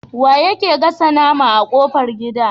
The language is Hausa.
Wane yake gasa nama a kofar gida?